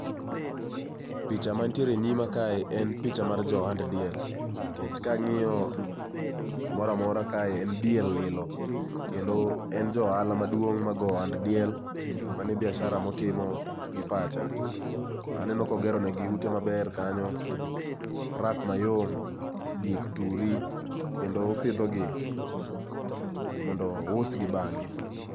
picha man tiere enyima kae en picha mar ja ohand diel, nikech kang'iyo kumoro amora kae en diel, lilo kendo en ja ohala maduong' ma goyo ohand diel, mano e biashara motimo gi pacha. Aneno ka ogeronegi ute maber kanyo, rak mayom, diek turi kendo opidhogi mondo ousgi bang'e.